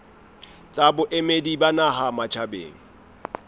tsa boemedi ba naha matjhabeng